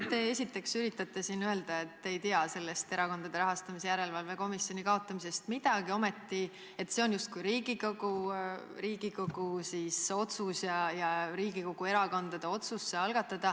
No esiteks, et üritate siin öelda, et te ei tea sellest Erakondade Rahastamise Järelevalve Komisjoni kaotamisest midagi, selle algatamine on justkui Riigikogu otsus ja Riigikogu erakondade otsus.